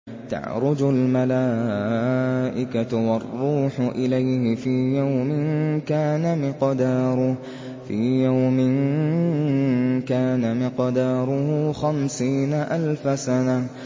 تَعْرُجُ الْمَلَائِكَةُ وَالرُّوحُ إِلَيْهِ فِي يَوْمٍ كَانَ مِقْدَارُهُ خَمْسِينَ أَلْفَ سَنَةٍ